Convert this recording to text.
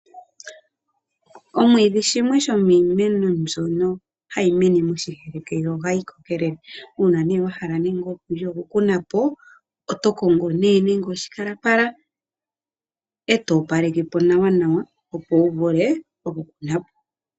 Omwiidhi shimwe shomiimeno mbyono hayi mene moshiheke yo ohayi kokelele, uuna ne wahala nenge okuli okukuna po, oto kongo ne oshikalapala eto opaleka po nawa nawa opo wuvule okukuna po.